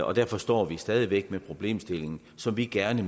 og derfor står man stadig væk med problemstillingen som vi gerne